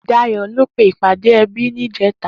Dayo lò pé ipàdé èbí nijètâ